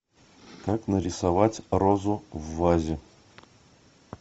как нарисовать розу в вазе